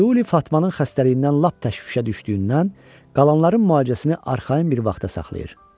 Tiuli Fatmanın xəstəliyindən lap təşvişə düşdüyündən qalanların müalicəsini arxayın bir vaxta saxlayır.